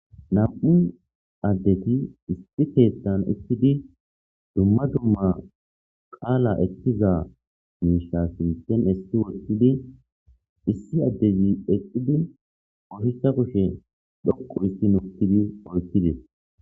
Nam''u adeti issi keththan utidi dumma dumma qala ekiza mishsha giddon essi woththidi issi adez eqidi ushshacha kushshe dhoqu hizi woththidi oykides.